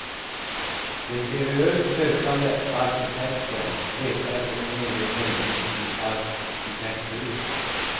De seriöst sökande arkitekterna letar efter en egen mening i arkitekturen.